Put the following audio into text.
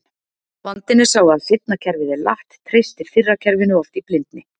Vandinn er sá að seinna kerfið er latt, treystir fyrra kerfinu oft í blindni.